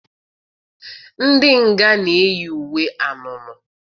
Ndị nga na-eyi uwe anunuu.